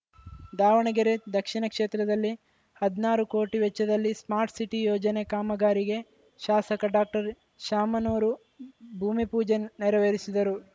ದಾವಣಗೆರೆ ದಕ್ಷಿಣ ಕ್ಷೇತ್ರದಲ್ಲಿ ಹದ್ನಾರು ಕೋಟಿ ವೆಚ್ಚದಲ್ಲಿ ಸ್ಮಾರ್ಟ್ ಸಿಟಿ ಯೋಜನೆ ಕಾಮಗಾರಿಗೆ ಶಾಸಕ ಡಾಕ್ಟರ್ ಶಾಮನೂರು ಭೂಮಿಪೂಜೆ ನೆರವೇರಿಸಿದರು